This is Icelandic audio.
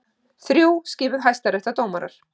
Þrjú skipuð hæstaréttardómarar